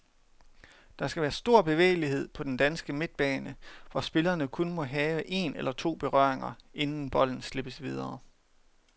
Der skal være stor bevægelighed på den danske midtbane, hvor spillerne kun må have en eller to berøringer, inden bolden slippes videre.